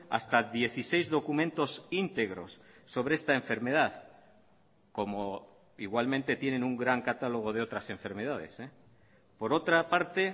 hasta dieciséis documentos íntegros sobre esta enfermedad como igualmente tienen un gran catálogo de otras enfermedades por otra parte